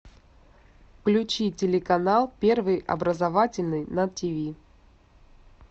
включи телеканал первый образовательный на тиви